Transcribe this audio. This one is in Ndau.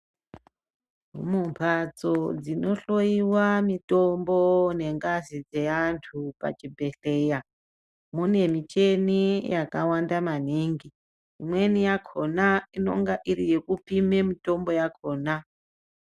Mumbatso dzinohloyiwa mitombo nengazi dze antu pachibhedhleya mune mishini yakawanda maningi. Imweni yakona inonga iri yekupime mitombo yakona.